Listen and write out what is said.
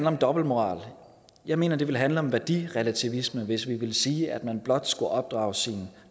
om dobbeltmoral jeg mener at det ville handle om værdirelativisme hvis vi ville sige at man blot skulle opdrage sine